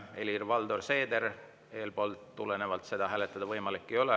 Helir-Valdor Seeder, eespool mainitust tulenevalt seda hääletada võimalik ei ole.